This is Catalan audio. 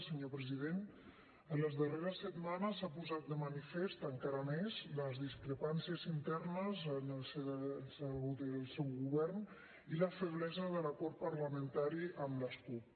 senyor president en les darreres setmanes s’han posat de manifest encara més les discrepàncies internes en el si del seu govern i la feblesa de l’acord parlamentari amb les cup